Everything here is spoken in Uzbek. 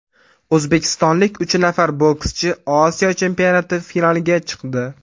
O‘zbekistonlik uch nafar bokschi Osiyo chempionati finaliga chiqdi.